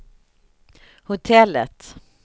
hotellet